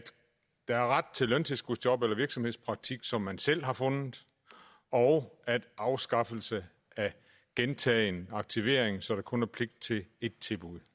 der er ret til løntilskudsjob eller virksomhedspraktik som man selv har fundet og afskaffelse af gentagen aktivering så der kun er pligt til ét tilbud